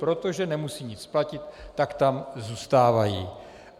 protože nemusí nic platit, tak tam zůstávají.